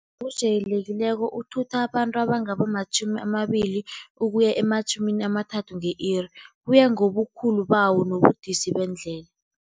Ojayelekileko uthutha abantu abangaba matjhumi amabili ukuya ematjhumini amathathu nge-iri. Kuya ngobukhulu bawo nobudisi bendlela.